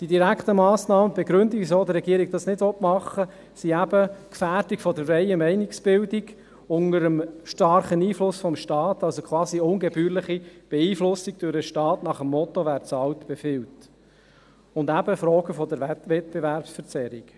Die Begründung, weshalb die Regierung die direkten Massnahmen nicht machen will, ist eben die Gefährdung der freien Meinungsbildung unter dem starken Einfluss des Staats, quasi durch eine ungebührliche Beeinflussung nach dem Motto «wer zahlt, befiehlt» sowie Fragen der Wettbewerbsverzerrung.